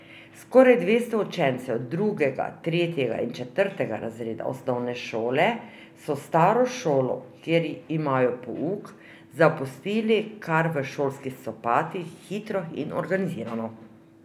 Skoraj dvesto učencev drugega, tretjega in četrtega razreda osnovne šole so staro šolo, kjer imajo pouk, zapustili kar v šolskih copatih, hitro in organizirano.